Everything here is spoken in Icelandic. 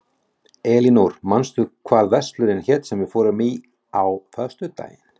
Elinór, manstu hvað verslunin hét sem við fórum í á föstudaginn?